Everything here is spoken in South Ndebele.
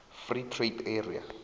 free trade area